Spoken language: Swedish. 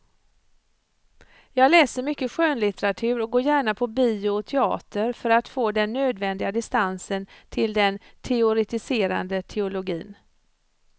Jag läser mycket skönlitteratur och går gärna på bio och teater för att få den nödvändiga distansen till den teoretiserande teologin.